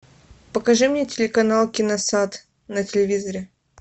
покажи мне телеканал киносад на телевизоре